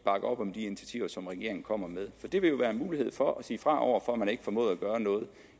op om de initiativer som regeringen kommer med for det vil jo være en mulighed for at sige fra over for at man ikke formåede at gøre noget